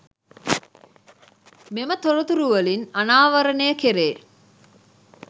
මෙම තොරතුරුවලින් අනාවරණය කෙරේ.